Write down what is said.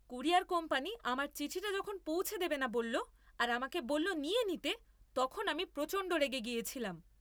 Courier company আমার চিঠিটা যখন পৌঁছে দেবে না বলল আর আমাকে বলল নিয়ে নিতে তখন আমি প্রচণ্ড রেগে গিয়েছিলাম।